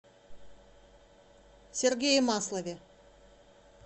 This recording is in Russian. сергее маслове